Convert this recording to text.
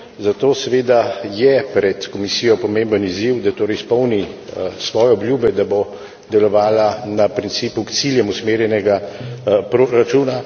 Zato seveda je pred Komisijo pomemben izziv, da torej izpolni svoje obljube, da bo delovala na principu k ciljem usmerjenega proračuna.